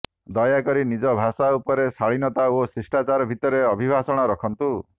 ଦୟାକରି ନିଜ ଭାଷା ଉପରେ ଶାଳୀନତା ଓ ଶିଷ୍ଟାଚାର ଭିତରେ ଅଭିଭାଷଣ ରଖନ୍ତୁ